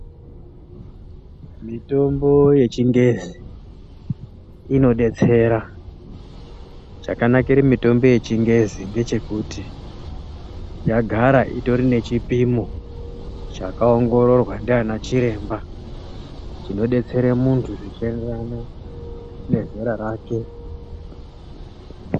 Mitombo yechingezi, inodetsera. Chakanakire mitombo yechingezi ngechekuti yagara itori nechipimo chakaongororwa ndaana chiremba chinodetsera muntu zvichienderana nezera rake.